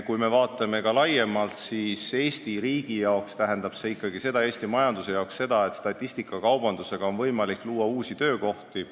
Kui me vaatame ka laiemalt, siis Eesti riigi ja Eesti majanduse jaoks tähendab see ikkagi seda, et statistikakaubandusega on võimalik luua uusi töökohti.